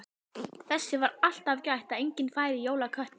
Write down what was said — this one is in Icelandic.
Þess var alltaf gætt að enginn færi í jólaköttinn.